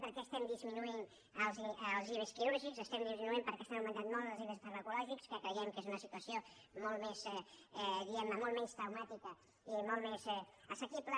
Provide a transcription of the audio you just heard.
per què estem disminuint els ive quirúrgics els estem disminuint perquè estan augmentant molt els ive farmacològics que creiem que és una situació molt menys traumàtica i molt més assequible